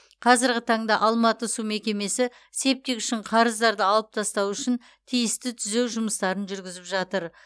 қазырғы таңда алматы су мекемесі септик үшін қарыздарды алып тастау үшін тиісті түзеу жұмыстарын жүргізіп жатыр